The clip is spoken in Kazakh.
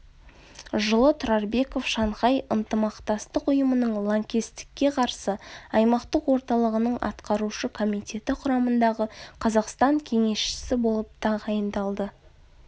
жылы тұрарбеков шанхай ынтымақтастық ұйымының лаңкестікке қарсы аймақтық орталығының атқарушы комитеті құрамындағы қазақстан кеңесшісі болып тағайындалды